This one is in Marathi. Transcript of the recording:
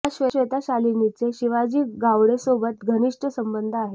या श्वेता शालिनींचे शिवाजी गावडेसोबत घनिष्ट संबंध आहेत